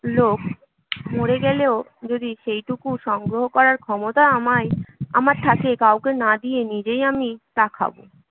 লোক মরে গেলেও যদি সেইটুকু সংগ্রহ করার ক্ষমতা আমায় আমার থাকে, কাউকে না দিয়ে নিজেই আমি তা খাব